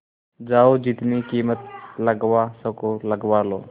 जाओ जितनी कीमत लगवा सको लगवा लो